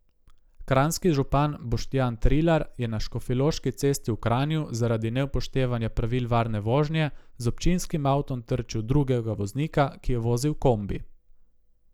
Kranjski župan Boštjan Trilar je na Škofjeloški cesti v Kranju zaradi neupoštevanja pravil varne vožnje z občinskim avtom trčil v drugega voznika, ki je vozil kombi.